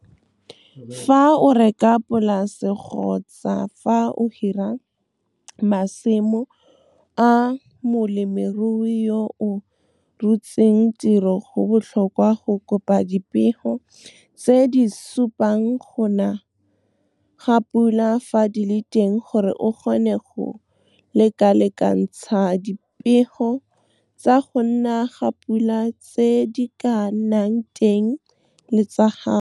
Fa o reka polase kgotsa fa o hira masimo a molemirui yo o rotseng tiro go botlhokwa go kopa dipego tse di supang go na ga pula fa di le teng gore o kgone go lekalekantsha dipego tsa go na ga pula tse di ka nnang teng le tsa gago. Fa o reka polase kgotsa fa o hira masimo a molemirui yo o rotseng tiro go botlhokwa go kopa dipego tse di supang go na ga pula fa di le teng gore o kgone go lekalekantsha dipego tsa go na ga pula tse di ka nnang teng le tsa gago.